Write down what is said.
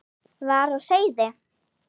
var á seyði.